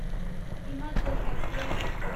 Himachal express